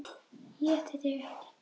ÉTI ÞIG EKKI!